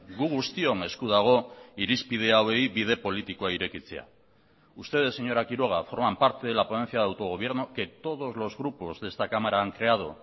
gu guztion esku dago irizpide hauei bide politikoa irekitzea ustedes señora quiroga forman parte de la ponencia de autogobierno que todos los grupos de esta cámara han creado